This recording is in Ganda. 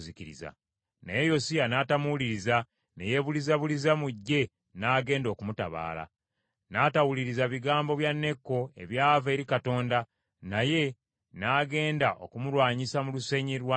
Naye Yosiya n’atamuwuliriza, ne yeebulizabuliza mu ggye n’agenda okumutabaala. N’atawuliriza bigambo bya Neeko ebyava eri Katonda, naye n’agenda okumulwanyisa mu lusenyi lwa Megiddo.